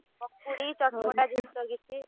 ପକୁଡି, ଚଟ ପଟା ଜିନିଷ କିଛି।